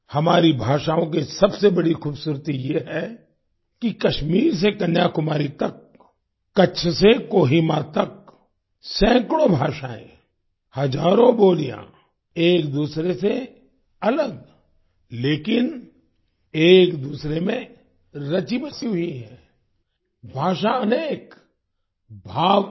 हमारी भाषाओं की सबसे बड़ी खूबसूरती ये है कि कश्मीर से कन्याकुमारी तक कच्छ से कोहिमा तक सैकड़ों भाषाएं हजारों बोलियाँ एक दूसरे से अलग लेकिन एक दूसरे में रचीबसी हुई हैं भाषा अनेक भाव एक